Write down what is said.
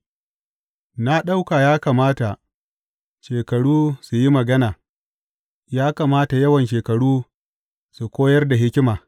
Na ɗauka ya kamata shekaru su yi magana; ya kamata yawan shekaru su koyar da hikima.’